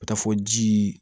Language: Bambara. Ka taa fɔ jii